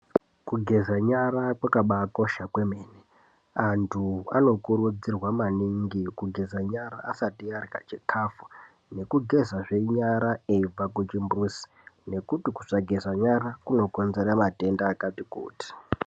Kugeza nyara kwakaba kosha kwemene. Antu ano kurudzirwa maningi kugeza nyara asati arya chikafu. Nekugeza zvenyara eibva kuchimbuzi nekuti kusageza nyara kunokonzera matenda akati kuti.